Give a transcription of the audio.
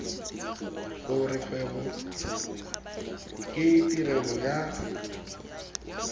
gore kgwebo ke tirelo ya